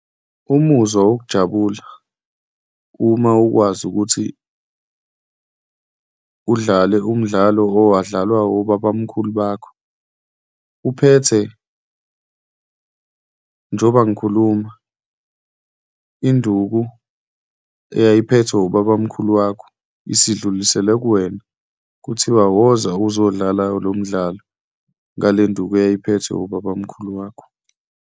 Umuzwa wokujabula uma ukwazi ukuthi udlale umdlalo owadlalwa wobabamkhulu bakho, uphethe, njengoba ngikhuluma, induku eyayiphethwe ubabamkhulu wakho, isidluliselwe kuwena kuthiwe, woza uzodlala lo umdlalo ngalenduku eyayiphethwe ubabamkhulu wakho.